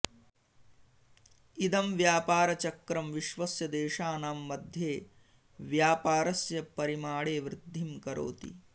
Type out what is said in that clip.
इदं व्यापारचक्रं विश्वस्य देशानां मध्ये व्यापारस्य परिमाणे वृद्धिं करोति